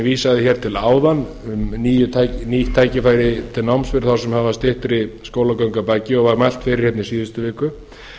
vísaði hér til áðan um nýtt tækifæri til náms fyrir þá sem hafa styttri skólagöngu að baki og var mælt fyrir hérna í síðustu viku